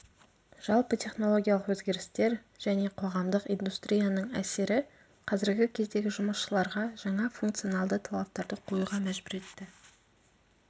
жалпы технологиялық өзгерістер және қоғамдық индустрияның әсері қазіргі кездегі жұмысшыларға жаңа функционалды талаптарды қоюға мәжбүр етті